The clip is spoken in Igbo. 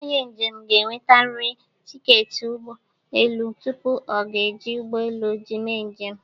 Onye njem ga-ewetarịrị tiketi ụgbọ elu tupu ọ ga-eji ụgbọ elu mee njem.